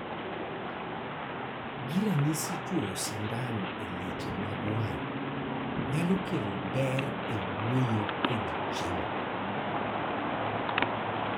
gi ranyisi chuoyo sindan e leche mag wang' nyalo kelo ber e wuoyo kod chiemo